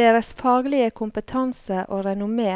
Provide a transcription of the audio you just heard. Deres faglige kompetanse og renommé